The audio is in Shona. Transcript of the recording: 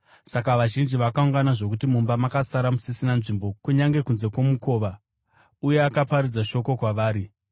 Saka vazhinji vakaungana zvokuti mumba makasara musisina nzvimbo kunyange kunze kwomukova, uye akaparidza shoko kwavari.